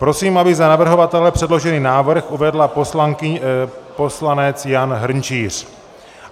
Prosím, aby za navrhovatele předložený návrh uvedl poslanec Jan Hrnčíř.